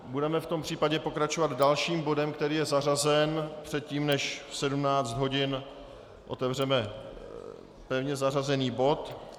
Budeme v tom případě pokračovat dalším bodem, který je zařazen předtím, než v 17 hodin otevřeme pevně zařazený bod.